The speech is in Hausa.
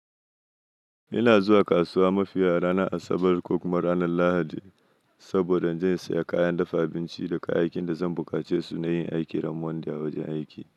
Ina zuwa kasuwa mafiya ranar Asabar ko kuma ranar Lahadi saboda in je in saya kayan dafa abinci da kayayyakin da zan buƙace su na yin aiki ramuwan da a wajen aiki.